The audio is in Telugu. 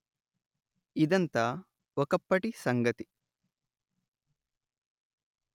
ఇదంతా ఒకప్పటి సంగతి